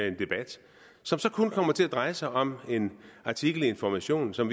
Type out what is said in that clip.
en debat som så kun kommer til at dreje sig om en artikel i information som